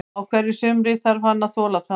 Á hverju sumri þarf hann að þola það.